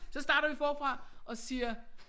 Så starter vi forfra og siger